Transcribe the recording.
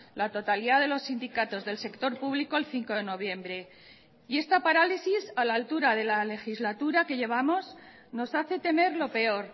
la totalidad de los sindicatos del sector público el cinco de noviembre y esta parálisis a la altura de la legislatura que llevamos nos hace temer lo peor